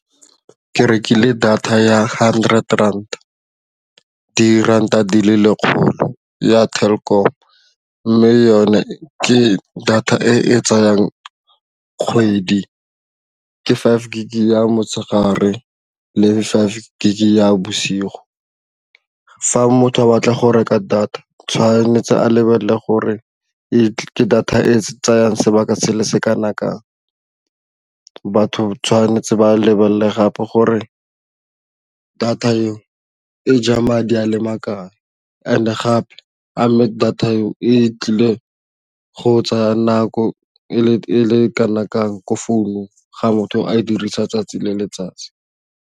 Ke rekile data ya hundred rand diranta di le lekgolo ya Telkom mme yone ke data e e tsayang kgwedi, ke five gig ya motshegare le five gig ya bosigo. Fa motho a batla go reka data tshwanetse a lebelele gore ke data e tsayang sebaka sele se kana kang. Batho tshwanetse ba lebale le gape gore data e o e ja madi a le and gape amme data eo e tlile go tsaya nako e le kana kang ko founung ga motho a e dirisa 'tsatsi le letsatsi.